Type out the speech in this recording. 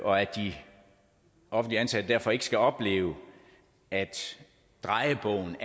og at de offentligt ansatte derfor ikke skal opleve at drejebogen